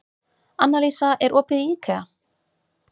Annalísa, er opið í IKEA?